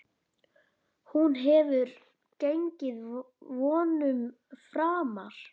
Hún hefur gengið vonum framar.